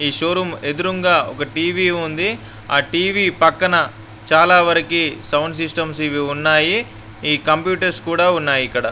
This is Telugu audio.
ఈ షో రూమ్ ఎదురుంగా ఒక టి_వి ఉంది.ఆ టి_వి పక్కన చాలా వారికి సౌండ్ సిస్టమ్స్ ఇవి ఉన్నాయి. ఈ కంప్యూటర్స్ కూడా ఉన్నాయి ఇక్కడ.